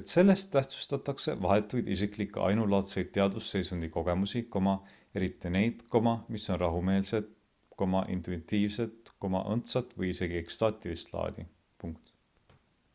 et selles tähtsustatakse vahetuid isiklikke ainulaadse teadvusseisundi kogemusi eriti neid mis on rahumeelset intuitiivset õndsat või isegi ekstaatilist laadi